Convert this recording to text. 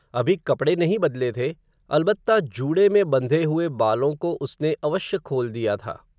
अभी कपडे नहीं बदले थे, अलबत्ता जूडे में बंधे हुए बालों को उसने, अवश्य खोल दिया था